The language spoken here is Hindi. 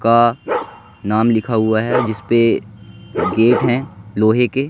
का नाम लिखा हुआ है जिसपे गेट हैं लोहे के--